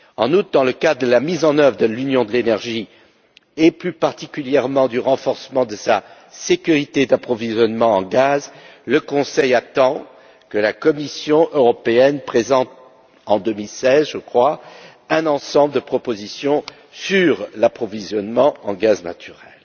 En outre, dans le cadre de la mise en œuvre de l'Union de l'énergie et, plus particulièrement, du renforcement de la sécurité de l'approvisionnement en gaz, le Conseil attend que la Commission européenne présente en 2016, me semble t il, un ensemble de propositions sur l'approvisionnement en gaz naturel.